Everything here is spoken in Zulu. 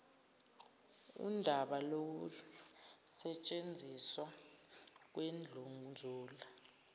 undaba lokusetshenziswa kwendlunzula